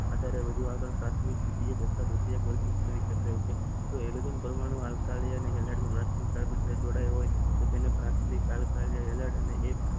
પ્રાથિમક